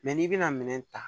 n'i bɛna minɛn ta